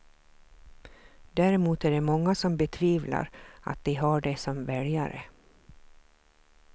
Däremot är det många som betvivlar att de har det som väljare.